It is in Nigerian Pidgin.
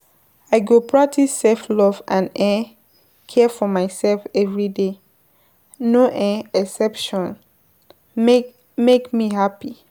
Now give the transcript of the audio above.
I go practice self-love and um care for myself every day, no um exception, make me happy.